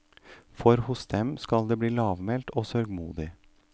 For hos dem skal det bli lavmælt og sørgmodig.